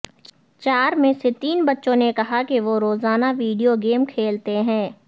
چار میں سے تین بچوں نے کہا کہ وہ روزانہ ویڈیو گیم کھیلتے ہیں